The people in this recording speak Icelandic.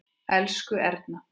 Elsku Erna.